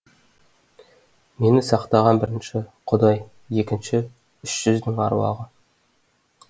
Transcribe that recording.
мені сақтаған бірінші құдай екінші үш жүздің аруағы